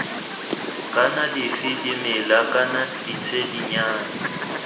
kana dife dimela kana ditshedinyana